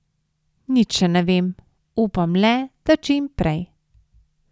Nič še ne vem, upam le, da čim prej.